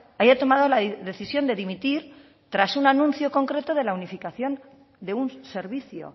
haya tomado la decisión de dimitir tras un anuncio concreto de la unificación de un servicio